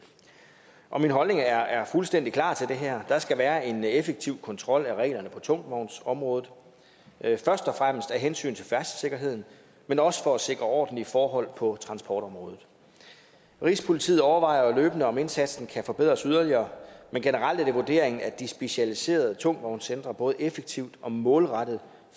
om cabotagekørsel min holdning er fuldstændig klar til det her der skal være en effektiv kontrol og reglerne på tungvognsområdet først og fremmest af hensyn til færdselssikkerheden men også for at sikre ordentlige forhold på transportområdet rigspolitiet overvejer løbende om indsatsen kan forbedres yderligere men generelt er det vurderingen at de specialiserede tungvognscentre både effektivt og målrettet